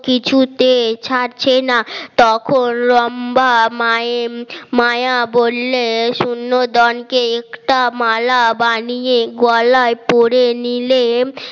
কিছুতে ছাড়ছে না তখন লম্বা মায়ের মায়া বললে শূন্যকে একটা মালা বানিয়ে গলায় পড়ে নিলে